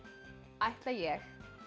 ætla ég